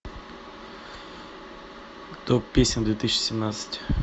топ песен две тысячи семнадцать